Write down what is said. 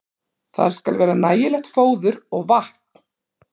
Þar skal vera nægilegt fóður og vatn.